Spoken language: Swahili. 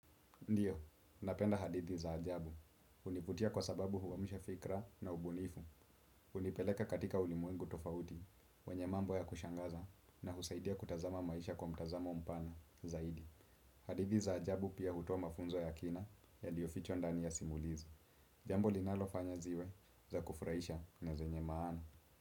Ndiyo, napenda hadithi za ajabu. Univutia kwa sababu huamsha fikra na ubunifu. Unipeleka katika ulimwengu tofauti, wenye mambo ya kushangaza na husaidia kutazama maisha kwa mtazamo mpana zaidi. Hadithi za ajabu pia hutoa mafunzo ya kina ya liofichwa ndani ya simulizi. Jambo linalofanya ziwe za kufraisha na zenye maana.